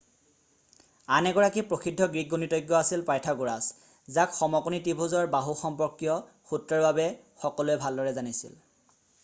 আন এগৰাকী প্ৰসিদ্ধ গ্ৰীক গণিতজ্ঞ আছিল পাইথাগ'ৰাছ যাক সমকোণী ত্ৰিভুজৰ বাহু সম্পৰ্কীয় সূত্ৰৰ বাবে সকলোৱে ভালদৰে জানিছিল